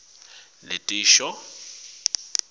taga netisho ngemphumelelo